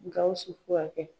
Gawusu ko ka kɛ